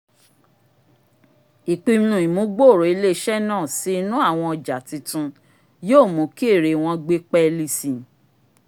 ìpinnu ìmúgbòòrò ilé-iṣẹ́ náà sí inú àwọn ọjà titun yóò mú kí ẹ̀re wọn gbé pẹ́ẹ́lí si